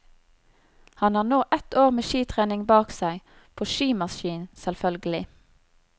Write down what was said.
Han har nå ett år med skitrening bak seg, på skimaskin selvførgelig.